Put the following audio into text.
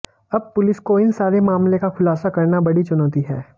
अब पुलिस को इन सारे मामले का खुलासा करना बड़ी चुनौती है